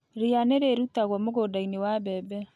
Ria nĩ rĩrutĩtwo mũgũnda-inĩ wa mbembe.